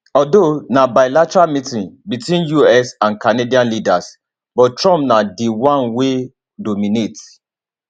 although na bilateral meeting between di us and canadian leaders but trump na di one wey dominate